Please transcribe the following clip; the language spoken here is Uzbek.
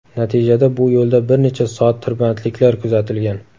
Natijada bu yo‘lda bir necha soat tirbandliklar kuzatilgan.